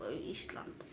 Ísland